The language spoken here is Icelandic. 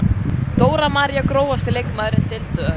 Dóra María Grófasti leikmaður deildarinnar?